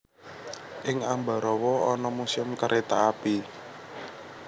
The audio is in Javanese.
Ing Ambarawa ana Museum Kereta Api